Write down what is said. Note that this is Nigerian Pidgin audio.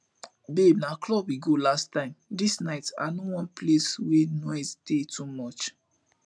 babe na club we go last time dis night i no want place wey noise dey too much